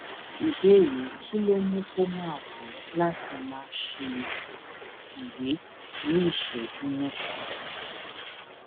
ìbéèrè kí ló ń mú kó máa wù é láti máa ṣe ìwè ní ìṣéjú méta